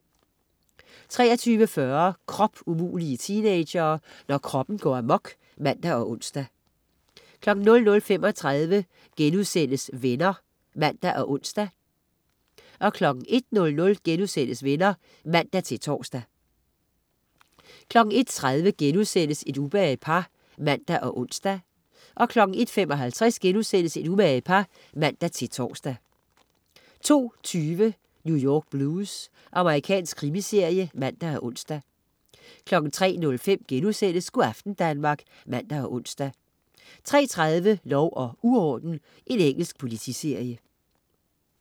23.40 Kropumulige teenagere!. Når kroppen går amok (man og ons) 00.35 Venner* (man og ons) 01.00 Venner* (man-tors) 01.30 Et umage par* (man og ons) 01.55 Et umage par* (man-tors) 02.20 New York Blues. Amerikansk krimiserie (man og ons) 03.05 Go' aften Danmark* (man og ons) 03.30 Lov og uorden. Engelsk politiserie